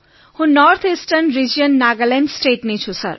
હું north eastern region Nagaland સ્ટેટનો છું સર